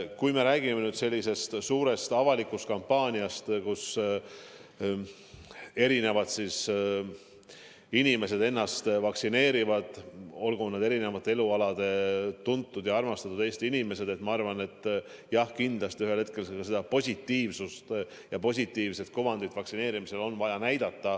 Kui me räägime sellisest suurest avalikust kampaaniast, mille käigus erinevate elualade tuntud ja armastatud Eesti inimesed lasevad ennast vaktsineerida, siis ma arvan, et kindlasti ühel hetkel seda positiivset kuvandit on vaja näidata.